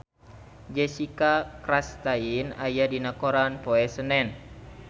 Jessica Chastain aya dina koran poe Senen